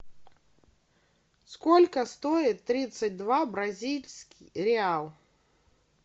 сколько стоит тридцать два бразильских реала